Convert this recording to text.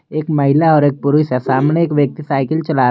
एक महिला और एक पुरुष सामने एक व्यक्ति साइकिल चला रहा--